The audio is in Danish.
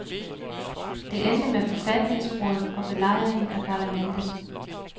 Det endte med forfatningsbrud og belejringen af parlamentet.